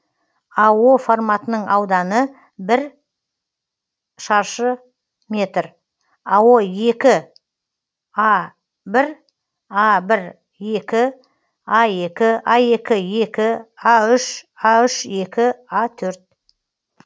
а форматының ауданы бір шаршы метр а а а а а а а а